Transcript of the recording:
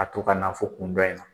A to ka na fo kun dɔ in na